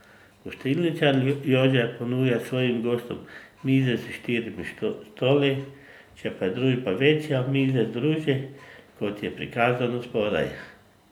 Gostilničar Jože ponuja svojim gostom mize s štirimi stoli, če pa je družba večja, mize združi, kot je prikazano spodaj.